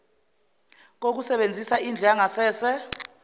kokusebenzisa indlu yangasese